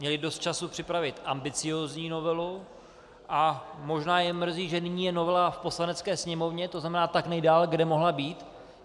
Měli dost času připravit ambiciózní novelu a možná je mrzí, že nyní je novela v Poslanecké sněmovně, to znamená tak nejdále, kde mohla být.